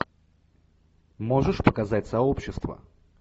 можешь показать сообщество